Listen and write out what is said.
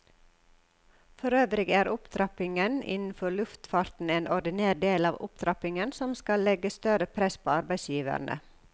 Forøvrig er opptrappingen innenfor luftfarten en ordinær del av opptrappingen som skal legge større press på arbeidsgiverne.